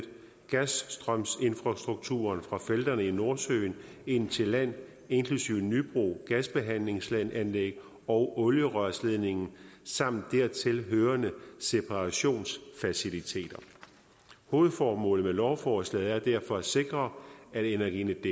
gasstrømsinfrastrukturen fra felterne i nordsøen ind til land inklusive nybro gasbehandlingsanlæg og olierørledningen samt dertil hørende separationsfaciliteter hovedformålet med lovforslaget er derfor at sikre at energinetdk